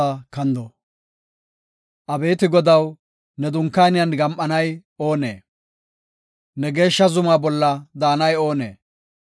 Abeeti Godaw, ne dunkaaniyan gam7anay oonee? Ne geeshsha zuma bolla daanay oonee?